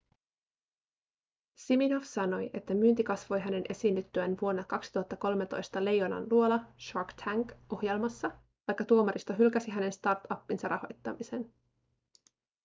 siminoff sanoi että myynti kasvoi hänen esiinnyttyään vuonna 2013 leijonanluola shark tank -ohjelmassa vaikka tuomaristo hylkäsi hänen startupinsa rahoittamisen